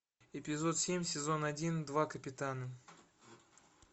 эпизод семь сезон один два капитана